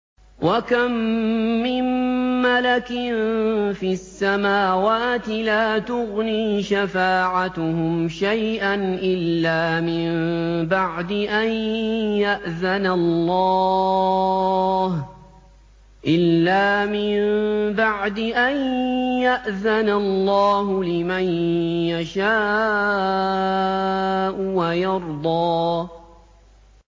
۞ وَكَم مِّن مَّلَكٍ فِي السَّمَاوَاتِ لَا تُغْنِي شَفَاعَتُهُمْ شَيْئًا إِلَّا مِن بَعْدِ أَن يَأْذَنَ اللَّهُ لِمَن يَشَاءُ وَيَرْضَىٰ